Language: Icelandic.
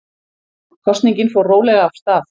Kosningin fór rólega af stað